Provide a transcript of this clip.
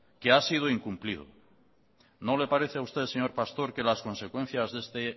que ha sido incumplido no le parece a usted señor pastor que las consecuencias de este